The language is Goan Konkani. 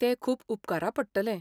तें खूब उपकारा पडटलें.